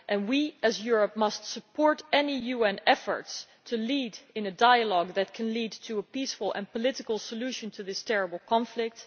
We, as Europe, must support any UN efforts to lead in a dialogue that can lead to a peaceful and political solution to this terrible conflict.